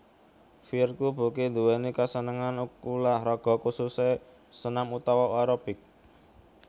Virku Burky nduwèni kasenengan ulah raga khususé senam utawa aerobik